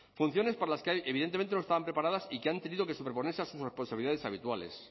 funciones para las que evidentemente no estaban preparadas y que han tenido que superponerse a sus responsabilidades habituales